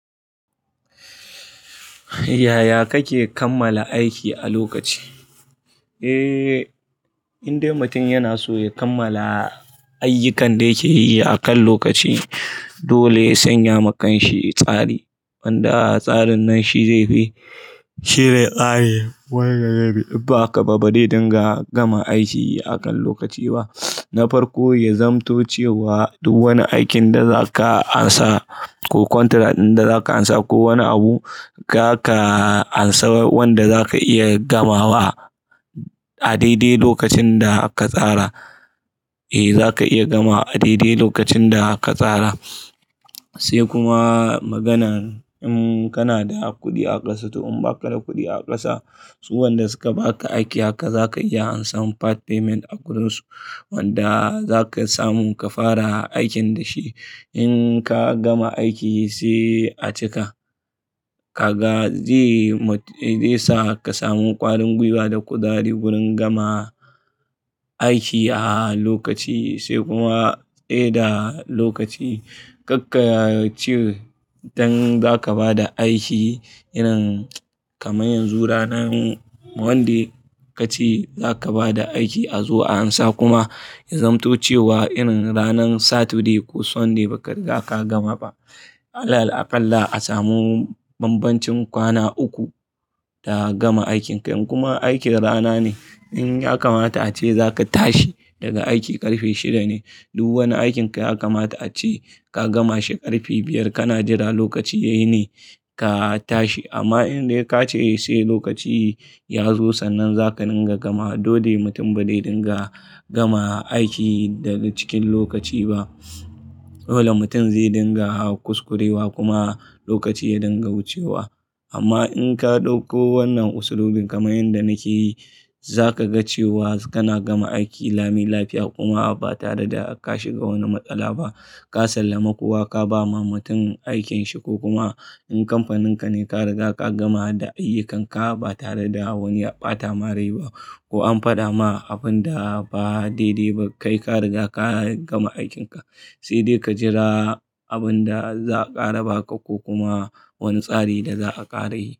Yaya kake kammala aiki a lokaci? Eh, in dai mutum yana so ya kammala ayyukan da yake yi akan lokaci dole ya sanya ma kansa tsari. Wanda tsarin nan shi zai bi, shi zai ƙare wanga yayi. Ba ka, ba dai dinga gama aiki akan lokaci ba. Na farko, ya zamto cewa duk wani aikin da za ka ansa ko contract ɗin da za ka ansa ko wani abu, ka ka ansa wanda za ka iya gamawa a daidai lokacin da ka tsara. Eh, za ka iya gama a daidai lokacin da ka tsara. Sai kuma maganan in kana da kuɗi a ƙasa. To in ba ka da kuɗi a ƙasa, su wanda suka ba ka aiki haka za ka iya ansa part payment a wurin su. Wanda za ka samu ka fara aikin da shi. In ka gama aiki sai a cika. Ka ga, zai ma, zai sa ka samu ƙwarin gwiwa da kuzari wurin gama aiki a lokaci sai kuma a da lokaci. Karka ce idan za ka bada aiki irin kamar yanzu ranan wanda ka ce za ka bada aiki a zuwa ansa kuma ya zamto cewa irin ranan Saturday ko Sunday ba ka, za ka gama ba. Alal, Aƙalla a samu bambancin kwana uku da gama aikin ka. Kuma aikin rana ne. In ya kamata ace za ka tashi daga aiki ƙarfe shida ne, duk wani aikin ka ya kamata ace ka gama shi ƙarfe biyar. Ka na jira lokaci yayi ne ka tashi. Amma in dai ka ce sai lokaci ya zo sannan za ka dinga gama. Dole mutum ba dai dinga gama aiki daga cikin lokaci ba. Dole mutum zai dinga kuskurewa kuma lokaci ya dinga wu cewa. Amma in ka ɗauko wannan usulubin kamar yanda nake yi, za ka ga cewa kana gama aiki lami lafiya kuma ba tare da ka shiga wani matsala ba. Ka sallami kowa, ka ba ma mutum aikin shi ko kuma in kamfanin ka ne, ka riga ka gama da ayyukan ka ba tare da wani ya ɓata marai ba ko an faɗa ma abun da ba daidai ba. Kai ka riga ka gama aikin ka. Sai dai ka jira abun da za a ƙara ba ka ko kuma wani tsari da za a ƙara yi.